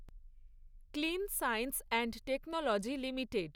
clean science and technology limited